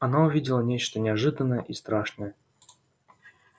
она увидела нечто неожиданное и страшное